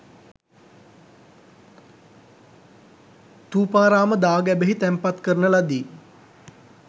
ථූපාරාම දා ගැබෙහි තැන්පත් කරන ලදී.